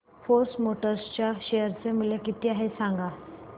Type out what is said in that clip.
force Motors च्या share चे मूल्य किती आहे सांगा